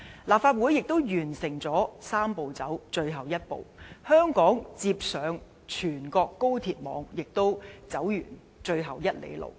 立法會亦完成"三步走"的最後一步，香港接上全國高鐵網，亦走完最後一里路。